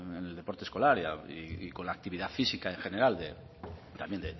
en el deporte escolar y con la actividad física en general de también